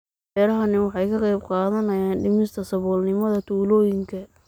Beerahani waxa ay ka qayb qaadanayaan dhimista saboolnimada tuulooyinka.